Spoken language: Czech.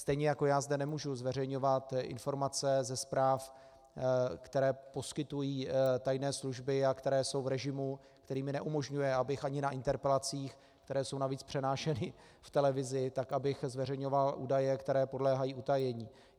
Stejně jako já zde nemůžu uveřejňovat informace ze zpráv, které poskytují tajné služby a které jsou v režimu, který mi neumožňuje, abych ani na interpelacích, které jsou navíc přenášeny v televizi, tak abych zveřejňoval údaje, které podléhají utajení.